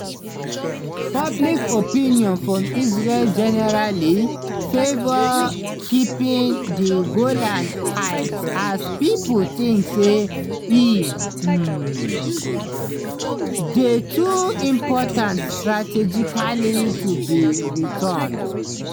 public opinion for israel generally favour keeping di golan heights as pipo think say e um dey too important strategically to be returned.